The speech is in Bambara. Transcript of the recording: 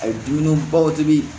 A ye dumunibaw tobi